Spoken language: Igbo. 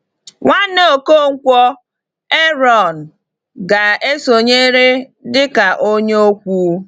Nwanne Ọkọnkwo, Ààrọ̀n, ga-esonyere dị ka onye okwu.